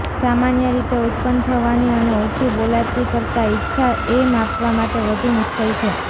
સામાન્ય રીતે ઉત્પન્ન થવાની અને ઓછી બોલાતી કરતાં ઇચ્છા એ માપવા માટે વધુ મુશ્કેલ છે